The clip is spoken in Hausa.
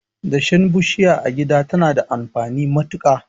Dashen bishiya a gida tana da amfani matuka.